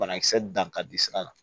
Banakisɛ dan ka di sira la